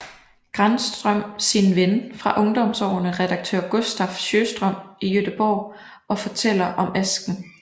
Granström sin ven fra ungdomsårene redaktør Gustaf Sjöström i Göteborg og fortæller om asken